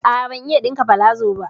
A'a, ban iya ɗinka palazo ba.